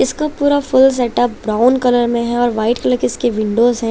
इसका पूरा full step up brown colour में है और वाईट कलर की इसकी विंडोस है।